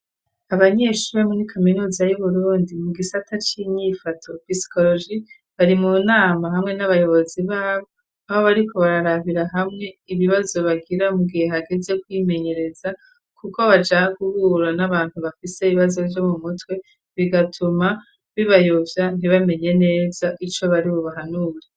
Abanyeshuri bo muri kaminuza y'uburundi mu gisata c'inyifato pisikoroji bari mu nama hamwe n'abayobozi babo aho bariko bararabira hamwe ibibazo bagira mugihe hageze kwimenyereza kuko baja guhura n'abantu bafise ibibazo vyo mu mutwe bigatuma bibayovya ntibamenye neza ico bari bubahanure.